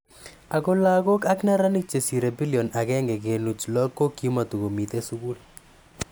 Ako lakok ak neranik che sire bilion aken kenuch lo ko kima tokomitei sukul.